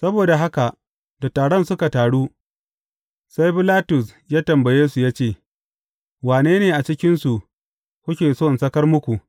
Saboda haka da taron suka taru, sai Bilatus ya tambaye su ya ce, Wane ne a cikinsu kuke so in sakar muku.